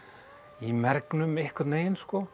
mergnum einhvern veginn